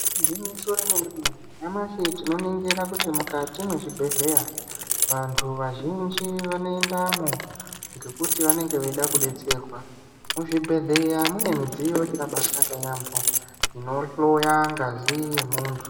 Igwinyiso remene-mene, nyamashi tinoningira kuti mukati mwezvibhedhlera vantu vazhinji vanoendamwo ngekuti vanenge veida kudetserwa. Muzvibhedhlera mune midziyo yakabaanaka yambo inohloya ngazi yemuntu.